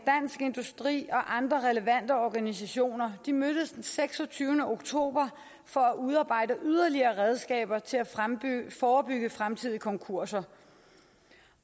industri og andre relevante organisationer mødtes den seksogtyvende oktober for at udarbejde yderligere redskaber til at forebygge fremtidige konkurser